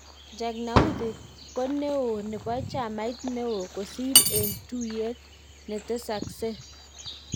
Jagnauthi ko ne o nepo chamait neo kosir en tutyeet netesasek